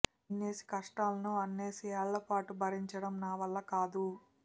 ఇన్నేసి కష్టాలను అన్నేసి ఏళ్లపాటు భరించడం నా వల్ల కాదు